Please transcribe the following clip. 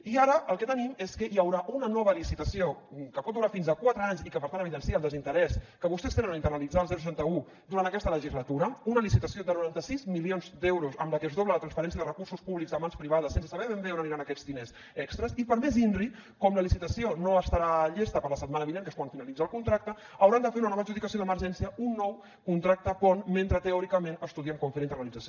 i ara el que tenim és que hi haurà una nova licitació que pot durar fins a quatre anys i que per tant evidencia el desinterès que vostès tenen a internalitzar el seixanta un durant aquesta legislatura una licitació de noranta sis milions d’euros amb la que es dobla la transferència de recursos públics a mans privades sense saber ben bé on aniran aquests diners extres i per més inri com la licitació no estarà llesta per la setmana vinent que és quan finalitza el contracte hauran de fer una nova adjudicació d’emergència un nou contracte pont mentre teòricament estudien com fer la internalització